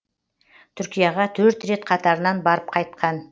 түркияға төрт рет қатарынан барып қайтқан